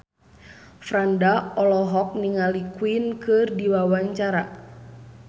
Franda olohok ningali Queen keur diwawancara